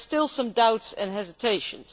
There are still some doubts and hesitations.